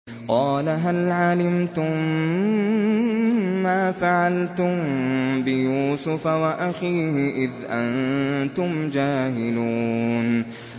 قَالَ هَلْ عَلِمْتُم مَّا فَعَلْتُم بِيُوسُفَ وَأَخِيهِ إِذْ أَنتُمْ جَاهِلُونَ